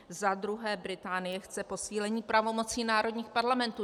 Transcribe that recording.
Za druhé, Británie chce posílení pravomocí národních parlamentů.